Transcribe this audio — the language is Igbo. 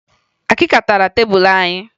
Akịka tara tebulu anyị